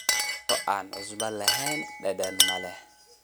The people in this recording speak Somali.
Cunto aan cusbo lahayn dhadhan ma leh.